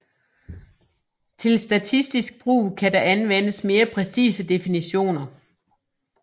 Til statistisk brug kan der anvendes mere præcise definitioner